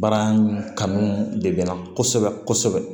Baara kanu de bɛ na kosɛbɛ kosɛbɛ